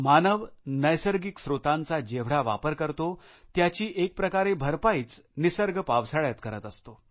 मानव नैसर्गिक स्त्रोतांचा जेवढा वापर करतो त्याची एक प्रकारे भरपाईच निसर्ग पावसाळ्यात करत असतो